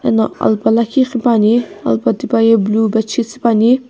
eno alpa lakhi qhipuani alpa tipaye blue bedsheet süpuani.